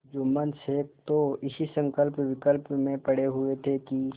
जुम्मन शेख तो इसी संकल्पविकल्प में पड़े हुए थे कि